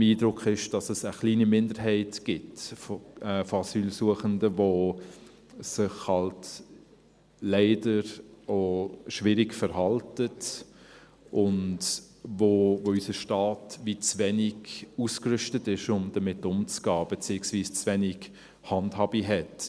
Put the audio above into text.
Mein Eindruck ist, dass es eine kleine Minderheit von Asylsuchenden gibt, die sich eben leider auch schwierig verhalten und wo unser Staat auch gewissermassen zu wenig ausgerüstet ist, um damit umzugehen beziehungsweise zu wenig Handhabe hat.